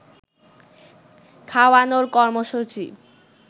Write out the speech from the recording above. খাওয়ানোর কর্মসূচী